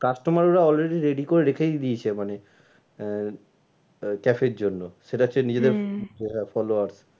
Customer রা already করে রেখেই দিয়েছে মানে আহ cafe এর জন্য সেটা হচ্ছে নিজেদের followers